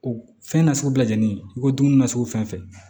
O fɛn nasugu bɛɛ jenninen i ko ko dumuni nasugu fɛn fɛn fɛ